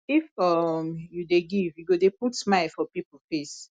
if um you dey give you go dey put smile for pipo face